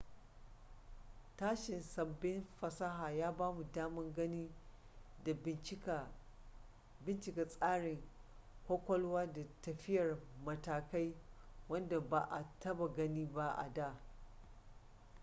tashin sabbin fasaha ya bamu daman gani da bincika tsarin kwakwalwa da tafiyar matakai wadda ba a taba gani ba a da